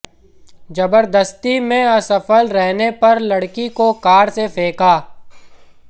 जबरदस्ती में असफल रहने पर लड़की को कार से फेंका